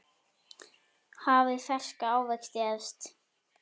Hafið ferska ávexti efst.